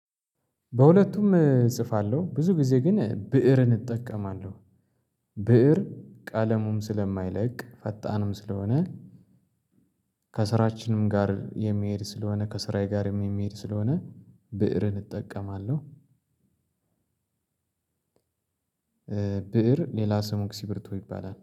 በሁለቱም እጽፋለሁ ብዙ ጊዜ ግን ብእርን እጠቀማለሁ ብእር ቃለሙም ስለማይለቅ ፈጣንም ስለሆነ ከስራችንም ጋር የሚሄድ ስለሆነ ከስራዬ ጋር የሚሄድ ስለሆነ ብእርን እጠቀማለሁ። ብእር ሌላ ስሙ እስኪርቢቶ ይባላል